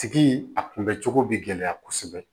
Tigi a kunbɛ cogo bɛ gɛlɛya kosɛbɛ